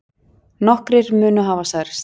Nokkrir munu hafa særst